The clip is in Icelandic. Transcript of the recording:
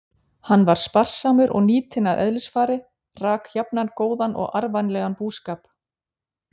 Hann var spar- samur og nýtinn að eðlisfari, rak jafnan góðan og arðvænlegan búskap.